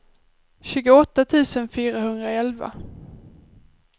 tjugoåtta tusen fyrahundraelva